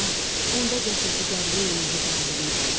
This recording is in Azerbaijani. “Bala, onda gətir bu dəryəyi nuru bağlayım qoluna.”